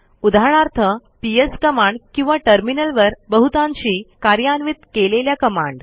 उदाहरणार्थ PS command किंवा टर्मिनलवर बहुतांशी कार्यान्वित केलेल्या कमांड